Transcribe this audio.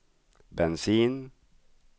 bensin